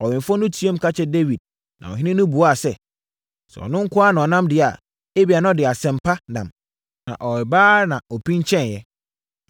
Ɔwɛmfoɔ no teaam ka kyerɛɛ Dawid na ɔhene no buaa sɛ, “Sɛ ɔno nko ara na ɔnam deɛ a, ebia, na ɔde asɛm pa nam.” Na ɔreba ara, na ɔpinkyɛe.